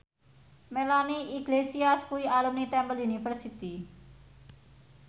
Melanie Iglesias kuwi alumni Temple University